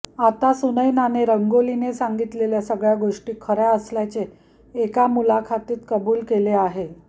आता सुनैनाने रंगोलीने सांगितलेल्या सगळ्या गोष्टी खऱ्या असल्याचे एका मुलाखतीत कबूल केले आहे